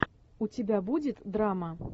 у тебя будет драма